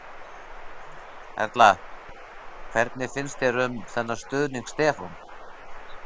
Erla: Hvernig finnst þér um þennan stuðning Stefán?